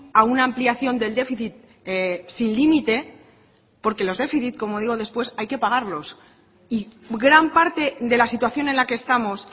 a una ampliación del déficit sin límite porque los déficit como digo después hay que pagarlos y gran parte de la situación en la que estamos